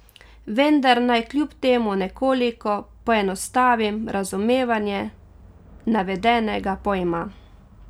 Vendar naj kljub temu nekoliko poenostavim razumevanje navedenega pojma.